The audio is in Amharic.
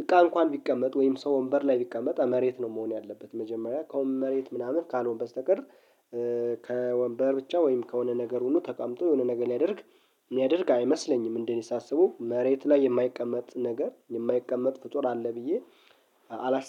እንኳን ቢቀመጥ ወይም ሰው ወንበር ላይ ቢቀመጥ መሬት ነው መሆን ያለበት መጀመሪያ ከወንበር መሬት ምናምን ካልሆን በስተቀር። ከወንበር ብቻ ወይም ከሆነ ነገር ሁኑ ተቀምጦ የሆነ ነገር ሊያደርግ የሚያደርግ አይመስለኝም እንዴ? ሳስበው መሬት ላይ የማይቀመጥ ነገር የማይቀመጥ ፍጡር አለ ብዬ አላስብም